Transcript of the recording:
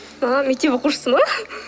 ыыы мектеп оқушысы ма